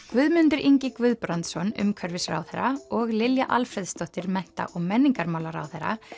Guðmundur Ingi Guðbrandsson umhverfisráðherra og Lilja Alfreðsdóttir mennta og menningarmálaráðherra